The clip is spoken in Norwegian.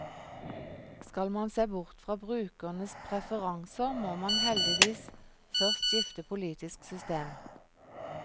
Skal man se bort fra brukernes preferanser, må man heldigvis først skifte politisk system.